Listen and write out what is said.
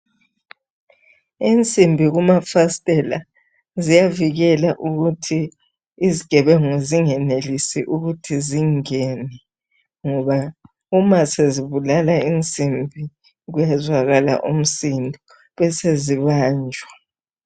Insimbi kumafasitela ziyavikela ukuthi izigebengu zingenelisi ukuthi zingene ngoba uma sezibulala insimbi kuyezwakala umsindo besezibanjwa.